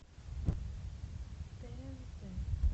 тнт